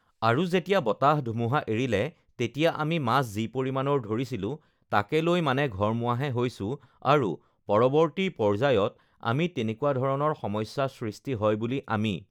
আৰু যেতিয়া বতাহ-ধুমুহা এৰিলে তেতিয়া আমি মাছ যি পৰিমাণৰ ধৰিছিলোঁ তাকে লৈ মানে ঘৰমুৱাহে হৈছোঁ আৰু পৰৱৰ্তী পৰ্য্যায়ত আকৌ তেনেকুৱা ধৰণৰ সমস্যা সৃষ্টি হয় বুলি আমি